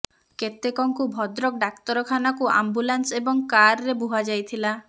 କେତେକଙ୍କୁ ଭଦ୍ରକ ଡାକ୍ତରଖାନାକୁ ଆମ୍ବୁଲାନ୍ସ ଏବଂ କାର୍ରେ ବୁହା ଯାଇଥିଲା